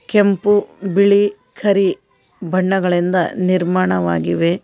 ಕೆಂಪು ಬಿಳಿ ಕರಿ ಬಣ್ಣಗಳಿಂದ ನಿರ್ಮಾಣವಾಗಿವೆ.